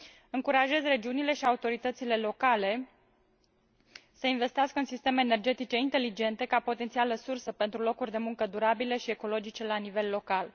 Încurajez regiunile și autoritățile locale să investească în sisteme energetice inteligente, ca potențială sursă pentru locuri de muncă durabile și ecologice la nivel local.